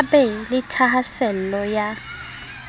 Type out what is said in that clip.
a be le thahasello ya